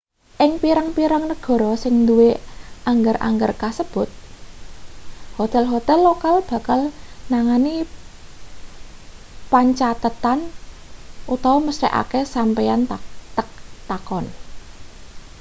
ing pirang-pirang negara sing duwe angger-angger kasebut hotel-hotel lokal bakal nangani pancathetan mesthekake sampeyan takon